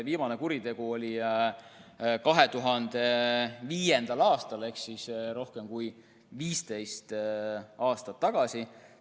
Viimane kuritegu oli tal 2005. aastal ehk rohkem kui 15 aastat tagasi.